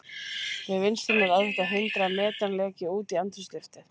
Við vinnsluna er erfitt að hindra að metan leki út í andrúmsloftið.